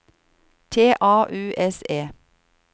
T A U S E